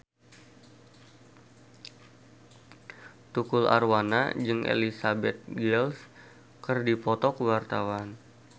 Tukul Arwana jeung Elizabeth Gillies keur dipoto ku wartawan